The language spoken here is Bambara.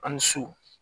A' ni su